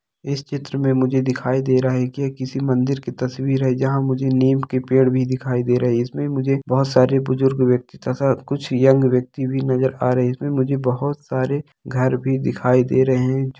इस चित्र में मुझे दिखाई दे रहा है की यह किसी मंदिर की तस्वीर है जहाँ मुझे नीम के पेड़ भी दिखाई दे रहै है इसमे मुझे बहोत सारे बुजुर्ग व्यक्ति तथा कुछ यंग व्यक्ति भी नजर आ रहै है इसमे मुझे बहोत सारे घर भी दिखाई दे रहे हैं।